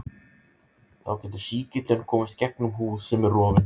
þá getur sýkillinn komist gegnum húð sem er rofin